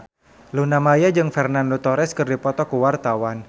Luna Maya jeung Fernando Torres keur dipoto ku wartawan